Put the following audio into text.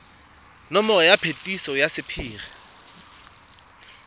nomoro ya phetiso ya sephiri